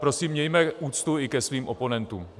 Prosím, mějme úctu i ke svým oponentům.